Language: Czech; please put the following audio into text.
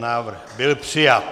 Návrh byl přijat.